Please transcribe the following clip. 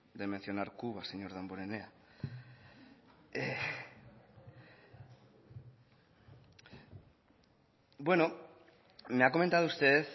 de mencionar cuba señor damborenea bueno me ha comentado usted